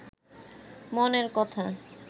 মনের কথা